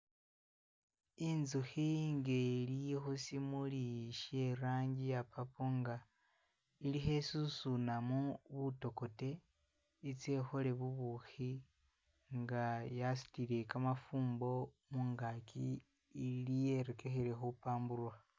I'nzukhi nga ili khusimuuli sye i'rangi iya purple nga ili khesusunamu butokote itsye ikhole bubukhi nga yasutile kamafumbo mungaaki ili yerekekhile khupamburukha